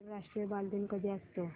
आंतरराष्ट्रीय बालदिन कधी असतो